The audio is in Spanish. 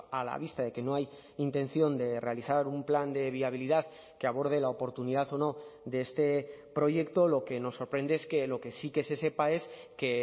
a la vista de que no hay intención de realizar un plan de viabilidad que aborde la oportunidad o no de este proyecto lo que nos sorprende es que lo que sí que se sepa es que